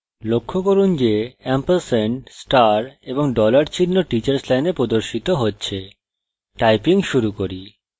লক্ষ্য করুন যে &* এবং $চিহ্ন teachers line প্রদর্শিত হচ্ছে typing শুরু করি